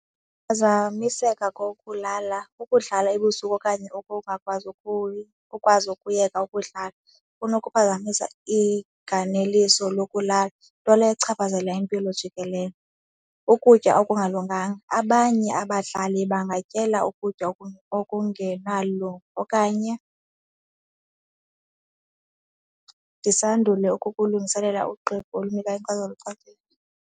Ukuphazamiseka kokulala, ukudlala ebusuku okanye ukungakwazi ungakwazi ukuyeka ukudlala kunokuphazamisa iganeliso lokulala nto leyo echaphazela impilo jikelele. Ukutya okungalunganga, abanye abadlali bangatyela ukutya okungenalungu okanye ndisandule ukukulungiselela ugqibo olunikwa inkcazelo echanekileyo.